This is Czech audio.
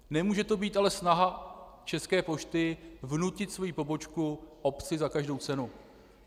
Nemůže to být ale snaha České pošty vnutit svoji pobočku obci za každou cenu.